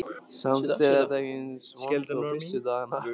Samt er þetta ekki eins vont og fyrstu dagana.